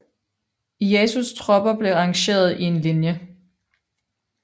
Ieyasus tropper blev arrangeret i en linje